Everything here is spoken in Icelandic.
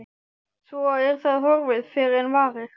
Svo er það horfið fyrr en varir.